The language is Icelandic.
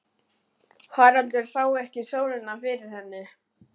Haraldur sá ekki sólina fyrir henni.